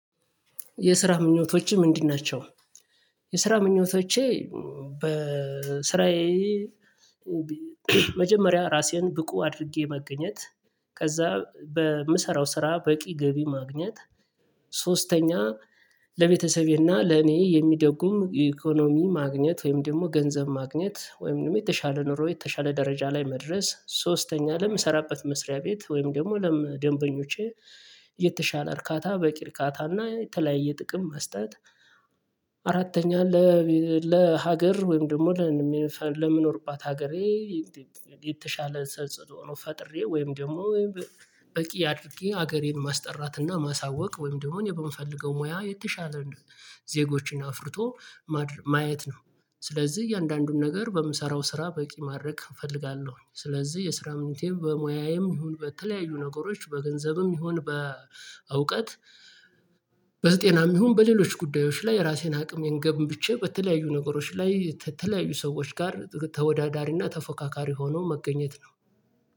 የስራ ምኞቶችህ ምንድን ናቸው? የስራ ምኞቶቼ በስራዬ መጀመሪያ ራሴን ብቁ አድርጌ መገኘት፣ ከዛ በምሰራው ስራ በቂ ገቢ ማግኘት፣ ሶስተኛ ለቤተሰቤና ለኔ የሚደጉም ኢኮኖሚ ማግኘት ወይም ደግሞ ገንዘብ ማግኘት ወይም ደግሞ የተሻለ ኑሮ የተሻለ ደረጃ ላይ መድረስ ሶስተኛ ለምሰራበት መስሪያ ቤት ወይም ደግሞ ለደንበኞቼ የተሻለ እርካታ በቂ እርካታ እና የተለያየ ጥቅም መስጠት አራተኛ ለሀገር ወይም ደግሞ ለምንኖርባት ሀገሬ የተሻለ ተጽዕኖ ፈጥሬ ወይም ደግሞ በቂ አድርጌ ሀገሬን ማስጠራት እና ማሳወቅ ወይም ደግሞ እኔ በምፈልገው ሙያ የተሻለ ዜጎችን አፍርቶ ማየት ነው። ስለዚህ እያንዳንዱን ነገር በምሰራው ስራ በቂ ማድረግ እፈልጋለሁ። ስለዚህ የስራ ምኞቴም በሙያዬም ይሁን በተለያዩ ነገሮች በገንዘብም ይሁን በእውቀት በዘጤናም ይሁን በሌሎች ጉዳዮች ላይ ራሴን አቅሜን ገንብቼ በተለያዩ ነገሮች ላይ ከተለያዩ ሰዎች ጋር ተወዳዳሪና ተፎካካሪ ሆኖ መገኘት ነው።